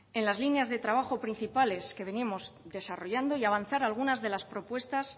en las líneas de trabajo principales que venimos desarrollando y avanzar algunas de las propuestas